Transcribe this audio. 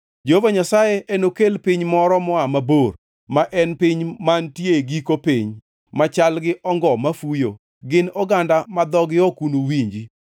Jehova Nyasaye enokel piny moro moa mabor, ma en piny mantie e giko piny, machal gi ongo mafuyo, gin oganda ma dhogi ok unuwinji,